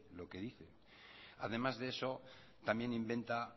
lo que dice además de eso también inventa